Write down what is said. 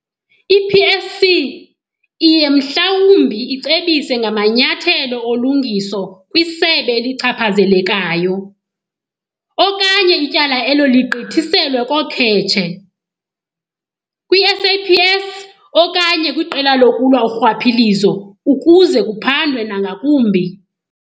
I-PSC iye mhlawumbi icebise ngamanyathelo olungiso kwisebe elichaphazelekayo okanye ityala elo ligqithiselwe koKhetshe, kwi-SAPS okanye kwiQela lokuLwa uRhwaphilizo ukuze kuphandwe nangakumbi.